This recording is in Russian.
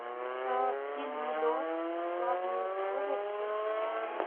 фильм лед в главной роли александр петров